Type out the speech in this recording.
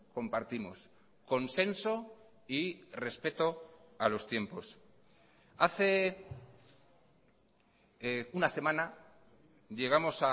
compartimos consenso y respeto a los tiempos hace una semana llegamos